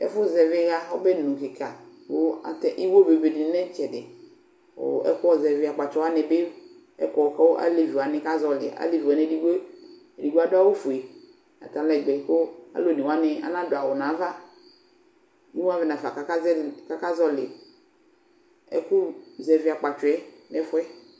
Ɛfʋ zɛvɩ ɩɣa n'ɔbɛnu kɩka kʋ atɛ iwo bebedɩnɩ lɛ n'ɩtsɛdɩ; kʋ ɛkʋzɛvɩ akpatsɔ wznɩ bɩ kɔ k'alevi wanɩ ka zɔɔlɩ Alevi wanɩ edigbo edigbo adʋ awʋfue atalɛgbɛ kʋ alʋ one wanɩ anadʋ awʋ n'ava; imuavɛ nafa k'aka zɛvɩ k'aka zɔɔlɩ ɛkʋzɛvɩ akpatsɔɛ n'ɛfʋɛ